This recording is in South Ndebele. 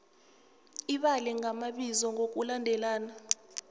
ibale ngamabizo ngokulandelana